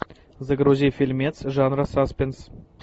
загрузи фильмец жанра саспенс